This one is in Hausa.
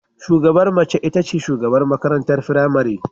Shugabar mace ita ce shugabar makarantar firamare